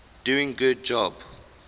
doing good job